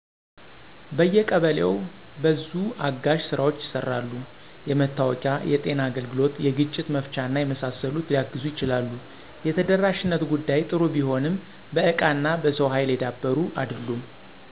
በየቀበሌው በዙ አጋዥ ስራዎች ይሰራሉ። የመታወቂያ፣ የጤና አገልግሎት፣ የግጭት መፍቻና የመሳሰሉት ሊያግዙ ይችላሉ። የተደራሽነት ጉዳይ ጥሩ ቢሆንም በእቃና በሰው ሀይል የዳበሩ አይደሉም።